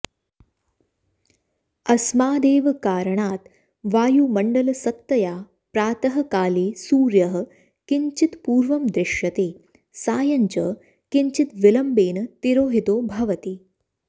अस्मादेव कारणात् वायुमण्लसत्तया प्रातःकाले सूर्यः किञ्चित्पूर्वं दृश्यते सायञ्च किञ्चिदविमम्बेन तिरोहितो भवति